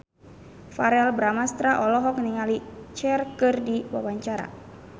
Verrell Bramastra olohok ningali Cher keur diwawancara